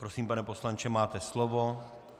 Prosím, pane poslanče, máte slovo.